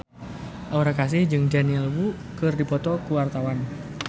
Aura Kasih jeung Daniel Wu keur dipoto ku wartawan